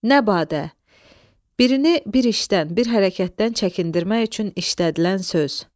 Nəbadə – birini bir işdən, bir hərəkətdən çəkindirmək üçün işlədilən söz.